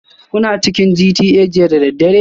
Kuna cikin GTA jiya da daddare?